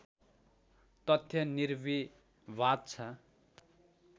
तथ्य निर्विवाद छ